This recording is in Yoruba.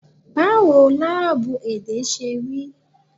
Báwo láábú èdè ṣe rí?